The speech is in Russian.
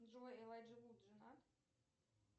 джой элайджа вуд женат